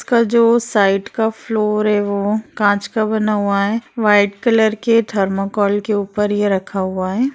इसका जो साइड का फ़्लोर है वो काँच का बना हुआ है व्हाइट कलर के थर्मोकोल के ऊपर ये रखा हुआ है।